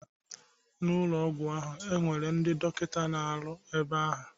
N'ụlọ ọgwụ ahụ, e nwere ndị dọkịta na-arụ ebe ahụ.